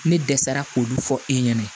Ne dɛsɛra k'olu fɔ e ɲɛna